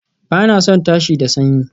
Ba na son tashi da sanyi